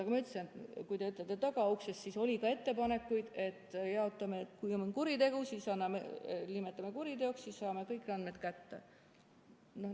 Aga ma ütlesin, et kui te ütlete "tagauksest", siis oli ka ettepanekuid, et jaotame nii, et kui on kuritegu, siis nimetame kuriteoks ja sel juhul saame kõik andmed kätte.